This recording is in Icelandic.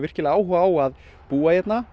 áhuga á að búa hérna